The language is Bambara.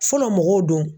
Fɔlɔ mɔgɔw don